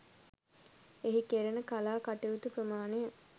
එහි කෙරෙන කලා කටයුතු ප්‍රමාණය